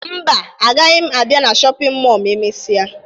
Mba, agaghị m abịa na shọpịn mọọ ma emesịa